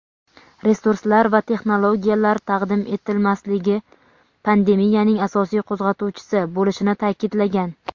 resurslar va texnologiyalar taqdim etilmasligi "pandemiyaning asosiy qo‘zg‘atuvchisi" bo‘lishini ta’kidlagan.